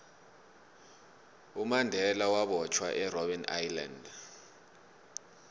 umandela wabotjhwa erbben island